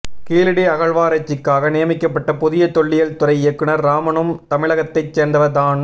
கீழடி அகழ்வாராய்ச்சிக்காக நியமிக்கப்பட்ட புதிய தொல்லியல் துறை இயக்குநர் ராமனும் தமிழகத்தைச் சேர்ந்தவர் தான்